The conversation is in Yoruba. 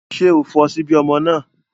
Ṣé o fọ ṣíbí ọmọ náà?